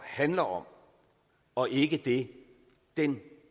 handler om og ikke det den